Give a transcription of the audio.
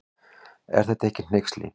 Er þetta ekki hneyksli.